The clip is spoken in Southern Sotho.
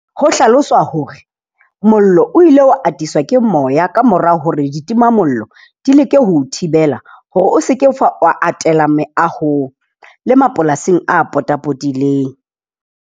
Ho hlaloswa hore mollo o ile wa atiswa ke moya kamora hore ditima mollo di leke ho o thibela. Hore o se ke fa wa atela meahong le mapolasing a potapotileng.